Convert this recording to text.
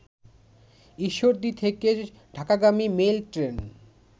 ঈশ্বরদী থেকে ঢাকাগামী mail train